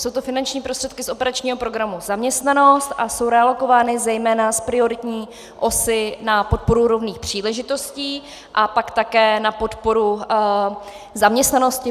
Jsou to finanční prostředky z operačního programu Zaměstnanost a jsou realokovány zejména z prioritní osy na podporu rovných příležitostí a pak také na podporu zaměstnanosti.